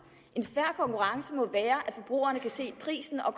en fair konkurrence må være at forbrugerne kan se prisen og